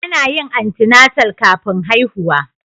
Ana yin antenatal kafin haihuwa